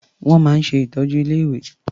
Wọ́n máa ń ṣe ìtọ́jú ilé-ìwé.